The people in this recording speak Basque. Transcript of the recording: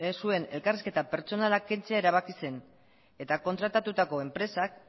zuen elkarrizketa pertsonala kentzea erabaki zen eta kontratatutako enpresak